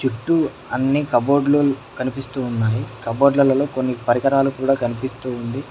చుట్టూ అన్ని కబోర్డ్లు కనిపిస్తూ ఉన్నాయి కబోర్డ్లలో కొన్ని పరికరాలు కూడా కనిపిస్తూ ఉంది.